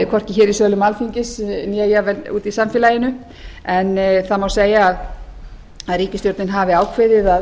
hvorki hér í sölum alþingis né jafnvel úti í samfélaginu en það má segja að ríkisstjórnin hafi ákveðið að